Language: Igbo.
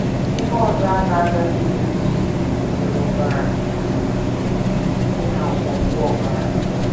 Ihe ọzọ a na -- agaghị eri bụ nri e tinyere ọbara, dị ka ngwọngwọ ọbara.